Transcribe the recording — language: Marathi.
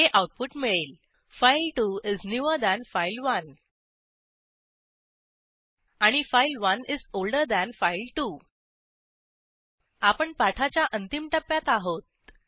हे आऊटपुट मिळेल file two is newer than file one आणि file one is older than file two आपण पाठाच्या अंतिम टप्प्यात आहोत